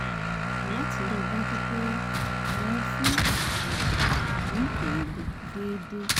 láti rí i dájú pé wọ́n ń fún bàbá rẹ̀ ní oògùn déédéé